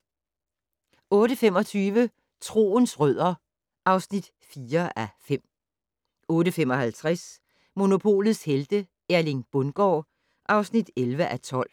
08:25: Troens rødder (4:5) 08:55: Monopolets Helte - Erling Bundgaard (11:12)